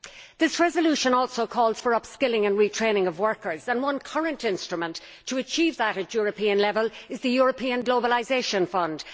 This resolution also calls for upskilling and retraining of workers and one current instrument to achieve that at European level is the European Globalisation Fund.